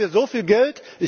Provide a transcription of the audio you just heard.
Haben wir so viel Geld?